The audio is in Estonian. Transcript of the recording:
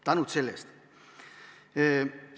Tänud selle eest!